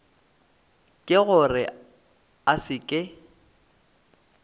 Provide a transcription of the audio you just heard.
ke gore a se ke